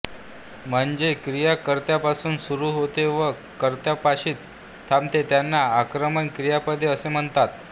म्हणजे क्रिया कर्त्यापासून सुरू होते व कर्त्यापाशीच थांबते त्यांना अकर्मक क्रियापदे असे म्हणतात